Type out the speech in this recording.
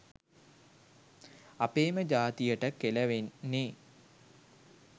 අපේම ජාතියට කෙලවෙන්නෙ.